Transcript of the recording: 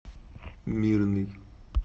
мирный